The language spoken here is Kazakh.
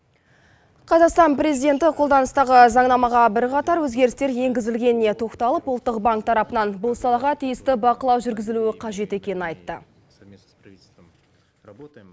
қазақстан президенті қолданыстағы заңнамаға бірқатар өзгерістер енгізілгеніне тоқталып ұлттық банк тарапынан бұл салаға тиісті бақылау жүргізілуі қажет екенін айтты